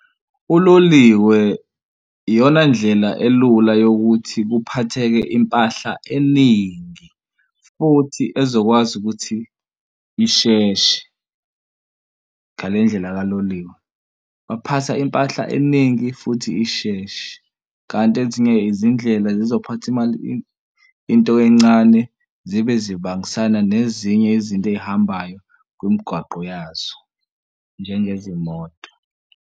Uloliwe iyona ndlela elula yokuthi kuphatheke impahla eningi futhi ezokwazi ukuthi isheshe ngale ndlela kaloliwe. Baphatha impahla eningi futhi isheshe kanti ezinye izindlela zizophatha imali into encane zibe zibangisana nezinye izinto ey'hambayo kwimigwaqo yazo, njengezimoto.